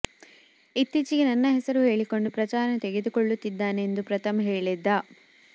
ಇತ್ತೀಚಿಗೆ ನನ್ನ ಹೆಸರು ಹೇಳಿಕೊಂಡು ಪ್ರಚಾರ ತೆಗೆದುಕೊಳ್ಳುತ್ತಿದ್ದಾನೆ ಎಂದು ಪ್ರಥಮ್ ಹೇಳಿದ್ದ